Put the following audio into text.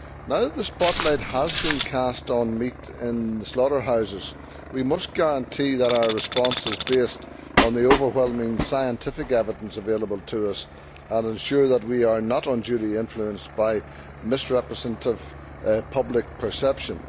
Now that the spotlight has been cast on meat in slaughterhouses, we must guarantee that our response is based on the overwhelming scientific evidence available to us and ensure that we are not unduly influenced by misrepresentative public perception.